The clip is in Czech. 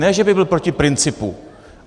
Ne že by byl proti principu.